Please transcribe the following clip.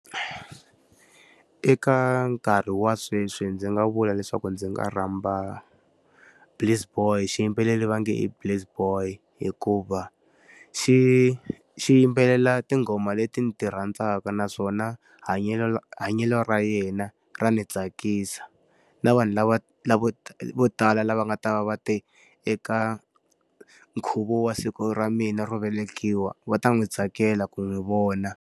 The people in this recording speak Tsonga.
Eka nkarhi wa sweswi ndzi nga vula leswaku ndzi nga rhamba Please Boy xiyimbeleri va nge Please Boy hikuva, xi xi yimbelela tinghoma leti ni ti rhandzaka naswona hanyelo ra yena ra ni tsakisa. Na vanhu lava lavo vo tala lava nga ta va va te eka nkhuvo wa siku ra mina ro velekiwa, va ta n'wi tsakela ku n'wi vona.